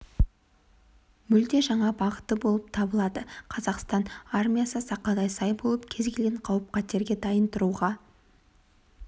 мүлде жаңа бағыты болып табылады қазақстан армиясы сақадай сай болып кез келген қауіп-қатерге дайын тұруға